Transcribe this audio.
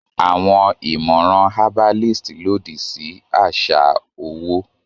Àwọn ìmọ̀ràn herbalist lòdì sí àṣà owó